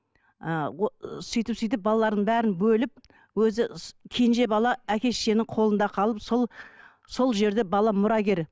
і сөйтіп сөйтіп балаларын бәрін бөліп өзі кенже бала әке шешенің қолында қалып сол сол жерде бала мұрагер